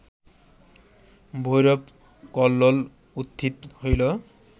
ভৈরব কল্লোল উত্থিত হইল